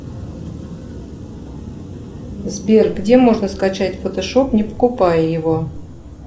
сбер где можно скачать фотошоп не покупая его